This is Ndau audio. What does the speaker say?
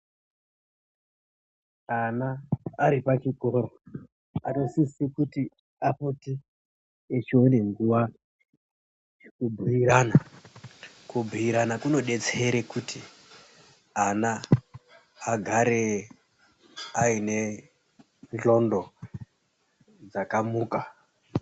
Ana aripachikoro anosise kuti apote echione nguva yekubhuirana. Kubhuirana kunodetsere kuti ana agare aine ndxondo dzakamuka.